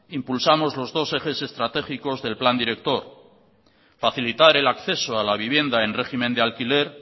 impulsamos los dos ejes estratégicos del plan director facilitar el acceso a la vivienda en régimen de alquiler